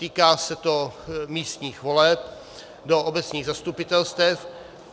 Týká se to místních voleb do obecních zastupitelstev.